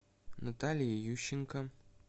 натальи ющенко